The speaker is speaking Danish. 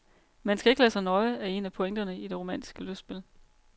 Man skal ikke lade sig nøje, er en af pointerne i det romantiske lystspil.